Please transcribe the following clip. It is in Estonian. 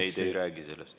Ei, te ei räägi sellest.